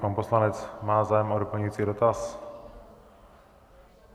Pan poslanec má zájem o doplňující dotaz?